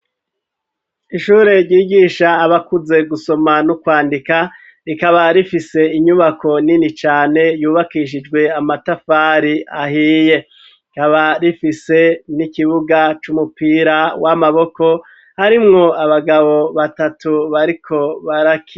Ishure ryigisha abakuze gusoma no kwandika rikaba rifise inyubako nini cane yubakishijwe amatafari ahiye rikaba rifise n'ikibuga c'umupira w'amaboko harimwo abagabo batatu bariko barakina.